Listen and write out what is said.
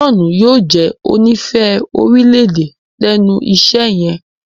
John yóò jé onífẹ̀ẹ́ orílẹ̀-èdè lénu iṣé yen.